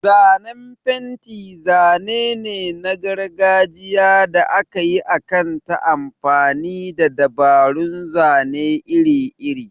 Zanen fenti zane ne na gargajiya da aka yi akan ta amfani da dabarun zane iri-iri.